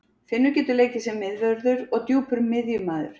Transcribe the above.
Finnur getur leikið sem miðvörður og djúpur miðjumaður.